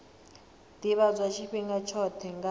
ḓivhadzwa tshifhinga tshoṱhe nga ha